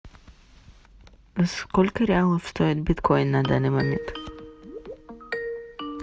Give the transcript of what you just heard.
сколько реалов стоит биткоин на данный момент